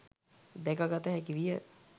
දැකගත හැකිවිය.